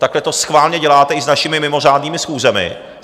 Takhle to schválně děláte i s našimi mimořádnými schůzemi.